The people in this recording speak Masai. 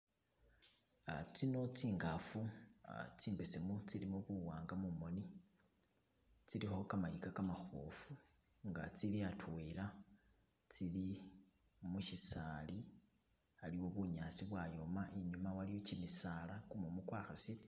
Uh tsino tsi'khafu tsimbesemu tsilimo buwanga mumoni , tsilikho kamayika kamabofu nga tsili atwela , tsili mushisali aliwo bunyasi bwayoma ,inyuma waliyo kimisala kumumu kwa khasile.